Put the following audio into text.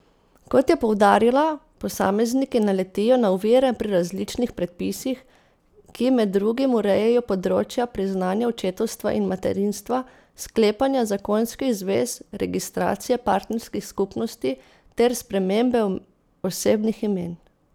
Kot je poudarila, posamezniki naletijo na ovire pri različnih predpisih, ki med drugim urejajo področja priznanja očetovstva in materinstva, sklepanja zakonskih zvez, registracije partnerskih skupnosti ter spremembe osebnih imen.